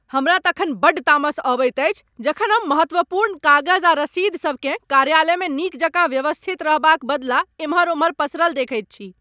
हमरा तखन बड़ तामस अबैत अछि जखन हम महत्वपूर्ण कागज आ रसीदसब केँ कार्यालयमे नीक जकाँ व्यवस्थित रहबाक बदला एम्हर ओम्हर पसरल देखैत छी।